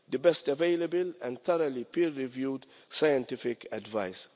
The best available and thoroughly peer reviewed scientific advice.